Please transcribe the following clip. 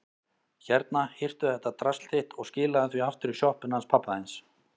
Hérna, hirtu þetta drasl þitt og skilaðu því aftur í sjoppuna hans pabba þíns.